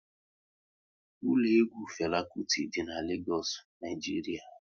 Ụlọ egwu Fela Kuti dị n'Legoosu, Naijiria